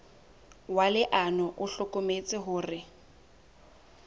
wa leano o hlokometse hore